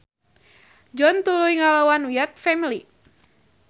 John tuluy ngalawan Wyatt Family.